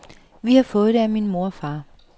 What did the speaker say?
Vi har fået det af min mor og far.